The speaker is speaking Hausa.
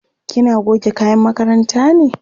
kina goge kayan makaranta ne?